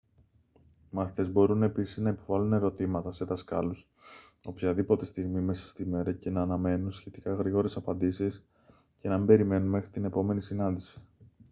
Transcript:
οι μαθητές μπορούν επίσης να υποβάλλουν ερωτήματα σε δασκάλους οποιαδήποτε στιγμή μέσα στη μέρα και να αναμένουν σχετικά γρήγορες απαντήσεις και να μην περιμένουν μέχρι την επόμενη συνάντηση